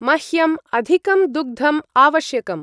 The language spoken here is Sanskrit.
मह्यम् अधिकं दुग्धं आवश्यकम्।